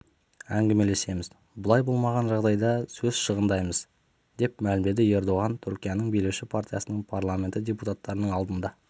әңгімелесеміз бұлай болмаған жағдайда сөз шығындамаймыз деп мәлімдеді ердоған түркияның билеуші партиясының парламенті депутаттарының алдында